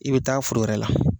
I bɛ taa foro wɛrɛ la.